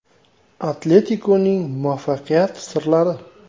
“Atletiko”ning muvaffaqiyat sirlari.